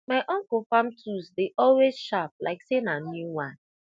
my uncle farm tools dey always sharp like say na new one